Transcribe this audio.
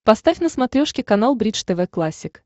поставь на смотрешке канал бридж тв классик